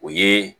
O ye